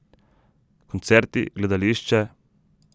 Koncerti, gledališče ...